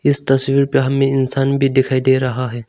इस तस्वीर पे हमें इंसान भी दिखाई दे रहा है।